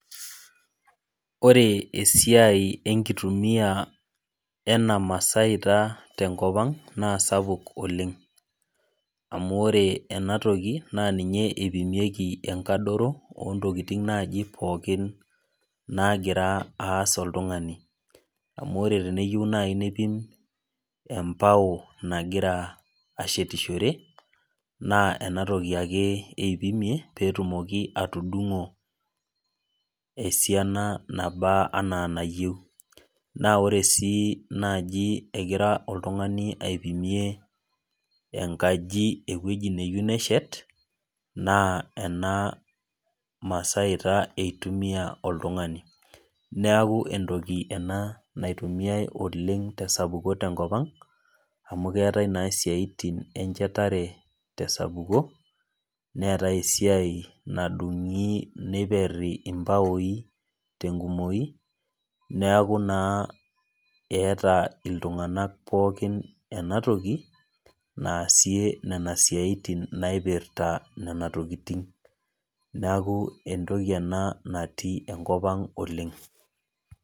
Ore esiai enkitumia ena masaita tenkop ang, naa sapuk oleng. Amu ore enatoki, naa ninye ipimieki enkadoro, ontokiting naji pookin nagira aas oltung'ani. Amu ore teneyieu nai neipim enbao nagira ashetishore, naa enatoki ake eipimie, petumoki atudung'o esiana naba anaa enayieu. Na ore si naji egira oltung'ani aipimie enkaji ewueji neyieu neshet, naa ena masaita eitumia oltung'ani. Neeku entoki ena naitumiai oleng tesapuko tenkop ang, amu keetae naa siaitin enchetare tesapuko, neetae esiai nadung'i niperri imbaoi tenkumoyu, neeku naa eeta iltung'anak pookin enatoki, naasie nena siaitin naipirta nena tokiting. Neeku entoki ena natii enkop ang oleng.